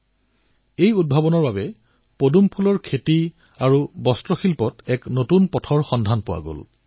আজি তেওঁৰ এই উদ্ভাৱনৰ দ্বাৰা পদুমৰ খেতি আৰু বস্ত্ৰ খণ্ডত নতুন পথ মুকলি হৈছে